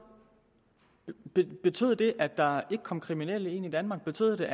betød det at der ikke kom kriminelle ind i danmark betød